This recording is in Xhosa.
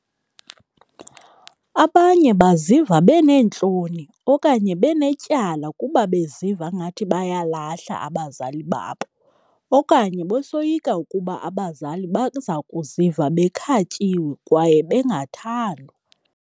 Abanye baziva beneentloni okanye benetyala kuba beziva ngathi bayalahla abazali babo okanye besoyika ukuba abazali baza kuziva bekhatyiwe kwaye bengathandwa.